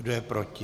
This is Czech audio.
Kdo je proti?